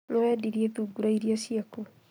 Nĩwendirie thungura irĩa ciaku